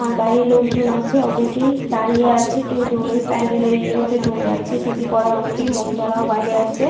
আর বাইরের লোকজন আছে অনেকেই দাঁড়িয়ে আছে কেউ ধরে প্যান্ডেলের ইয়ে মধ্যে ধরে আছে। টুপি পরা অনেকেই মহিলারাও বাইরে আছে।